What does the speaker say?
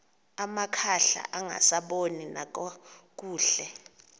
amakhwahla angasaboni nakakuhle